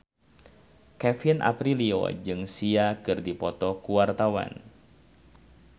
Kevin Aprilio jeung Sia keur dipoto ku wartawan